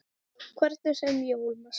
Hvernig sem ég ólmast.